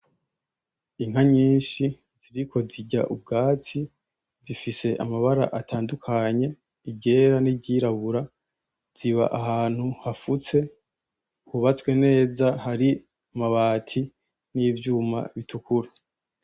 Inka nyishi ziriko zirya ubwatsi zifise amabara atandukanye iryera n'iryirabura ziba ahantu hapfutse hubatswe neza hari amabati n'ivyuma bitukura.